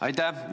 Aitäh!